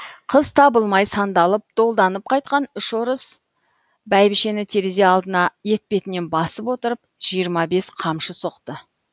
қыз табылмай сандалып долданып қайтқан үш орыс бәйбішені терезе алдына етпетінен басып отырып жиырма бес қамшы соқты